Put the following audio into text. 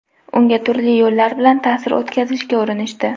Unga turli yo‘llar bilan ta’sir o‘tkazishga urinishdi.